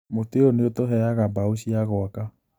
Mũtĩ ũyũ nĩũtũheaga mbao cia gwaka